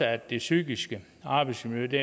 at det psykiske arbejdsmiljø